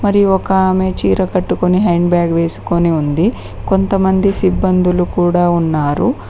మరి ఒక ఆమె చీర కట్టుకొని హ్యాండ్ బ్యాగ్ వేసుకొని ఉంది కొంతమంది సిబ్బందులు కూడా ఉన్నారు.